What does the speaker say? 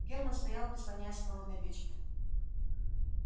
герман стоял прислонясь к холодной печке